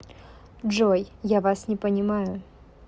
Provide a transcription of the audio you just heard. джой я вас не понимаю